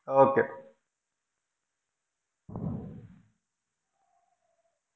Okay